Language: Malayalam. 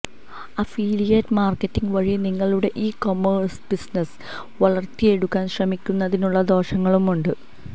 അഫിലിയേറ്റ് മാർക്കറ്റിങ് വഴി നിങ്ങളുടെ ഇ കൊമേഴ്സ് ബിസിനസ്സ് വളർത്തിയെടുക്കാൻ ശ്രമിക്കുന്നതിനുള്ള ദോഷങ്ങളുമുണ്ട്